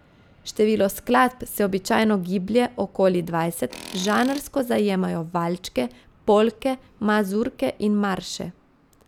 Število skladb se običajno giblje okoli dvajset, žanrsko zajemajo valčke, polke, mazurke in marše.